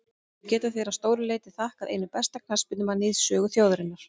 Því geta þeir að stóru leyti þakkað einum besta knattspyrnumanni í sögu þjóðarinnar.